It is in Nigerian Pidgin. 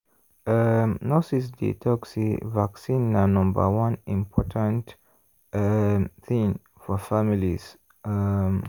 um nurses dey talk say vaccine na number one important um thing for families. um